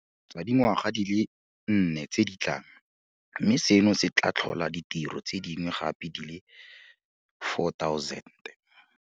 Sa dingwaga di le nne tse di tlang, mme seno se tla tlhola ditiro tse dingwe gape di le 4 000.